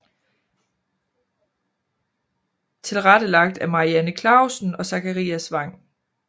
Tilrettelagt af Marianne Clausen og Zakarias Wang